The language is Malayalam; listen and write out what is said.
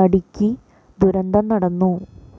നടിക്ക് ദുരന്തം നടന്നു